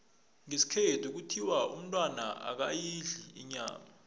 ngesikhethu kuthiwa umntwana akayidli inyama